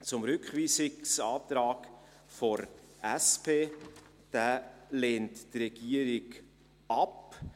Zum Rückweisungsantrag der SP: Diesen lehnt die Regierung ab.